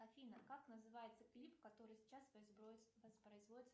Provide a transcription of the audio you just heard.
афина как называется клип который сейчас воспроизводится